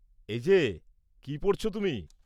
-এই যে, কী পড়ছ তুমি?